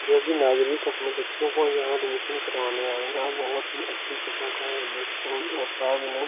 जो भी नागरीक अपने बच्चों को यहां एडमिशन करवाने आए यहां बहुत ही अच्छी किस्म का है ये स्कूल और सामने।